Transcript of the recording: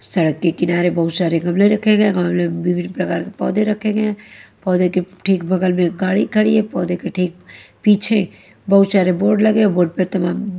सड़क के किनारे बहुत सारे गमले रखे गए हैं गमले में विभिन्न प्रकार के पौधे रखे गए हैं पौधे के ठीक बगल में गाड़ी खड़ी है पौधे के ठीक पीछे बहुत शारे बोर्ड लगे बोर्ड पे तमाम--